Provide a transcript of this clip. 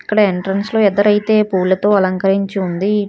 ఇక్కడ ఎంట్రెన్స్ లో ఎదర అయితే పూలతో అలంకరించి ఉంది.